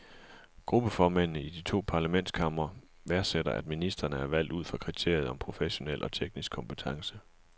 Gruppeformændene i de to parlamentskamre værdsætter, at ministrene er valgt ud fra kriteriet om professionel og teknisk kompetence.